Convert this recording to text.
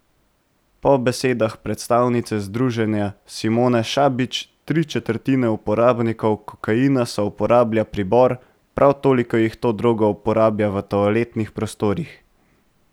Po besedah predstavnice združenja Simone Šabič tri četrtine uporabnikov kokaina souporablja pribor, prav toliko jih to drogo uporablja v toaletnih prostorih.